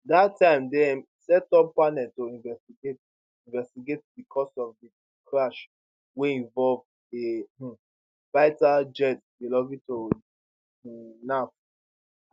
dat time dem setup panel to investigate investigate di cause of di crash wey involve a um fighter jet belonging to di um naf